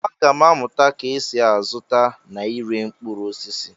Aga m amụta ka esi azụta na ire mkpụrụ osisi.